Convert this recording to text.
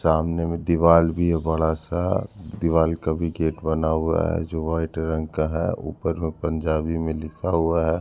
सामने में दीवाल भी है बड़ा सा दीवाल का भी गेट बना हुआ है जो व्हाइट रंग का है ऊपर वो पंजाबी में लिखा हुआ है।